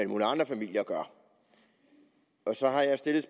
mulige andre familier gør og så har jeg stillet